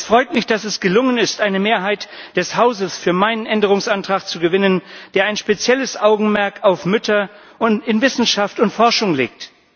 Es freut mich, dass es gelungen ist, eine Mehrheit des Hauses für meinen Änderungsantrag zu gewinnen, der ein spezielles Augenmerk auf Mütter in Wissenschaft und Forschung legt.